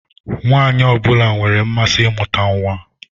Nwaanyị ọ bụla nwere mmasị imuta nwa.